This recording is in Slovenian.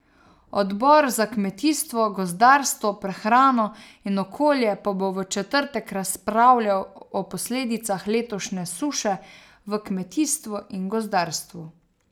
Odbor za kmetijstvo, gozdarstvo, prehrano in okolje pa bo v četrtek razpravljal o posledicah letošnje suše v kmetijstvu in gozdarstvu.